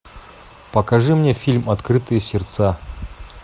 покажи мне фильм открытые сердца